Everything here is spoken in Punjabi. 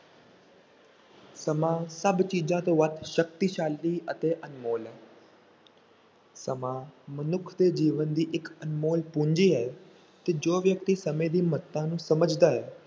ਸਮਾਂ ਸਭ ਚੀਜ਼ਾਂ ਤੋਂ ਵੱਧ ਸ਼ਕਤੀਸ਼ਾਲੀ ਅਤੇ ਅਨਮੋਲ ਹੈ ਸਮਾਂ ਮਨੁੱਖ ਦੇ ਜੀਵਨ ਦੀ ਇੱਕ ਅਨਮੋਲ ਪੂੰਜੀ ਹੈ ਕਿ ਜੋ ਵਿਅਕਤੀ ਸਮੇਂ ਦੀ ਮਹੱਤਤਾ ਨੂੰ ਸਮਝਦਾ ਹੈ,